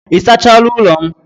Ị sachaala ụlọ m?